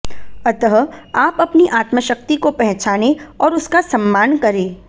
अतः आप अपनी आत्मशक्ति को पहचानें और उसका सम्मान करें